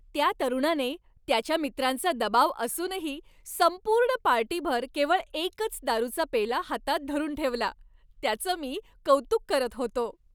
त्या तरुणाने त्याच्या मित्रांचा दबाव असूनही संपूर्ण पार्टीभर केवळ एकच दारूचा पेला हातात धरून ठेवला, त्याचं मी कौतुक करत होतो .